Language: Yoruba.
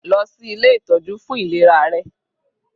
Lọ sí ilé ìtọ́jú fún ìlera rẹ.